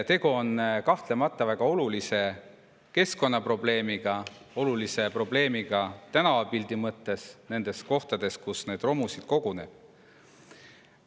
Tegu on kahtlemata väga olulise keskkonnaprobleemiga, olulise probleemiga tänavapildi mõttes nendes kohtades, kus neid romusid koguneb.